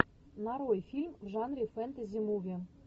нарой фильм в жанре фэнтези муви